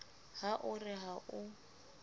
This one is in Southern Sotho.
ha o re ha o